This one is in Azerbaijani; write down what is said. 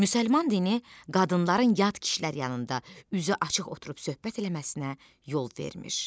Müsəlman dini qadınların yad kişilər yanında üzü açıq oturub söhbət eləməsinə yol vermir.